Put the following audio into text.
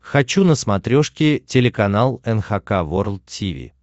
хочу на смотрешке телеканал эн эйч кей волд ти ви